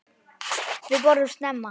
Við borðum snemma.